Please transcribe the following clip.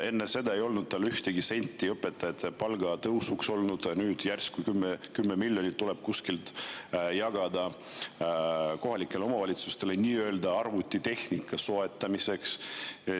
Enne seda ei olnud tal ühtegi senti õpetajate palga tõusuks, nüüd järsku tuleb kuskilt 10 miljonit, mida saab jagada kohalikele omavalitsustele nii-öelda arvutitehnika soetamiseks.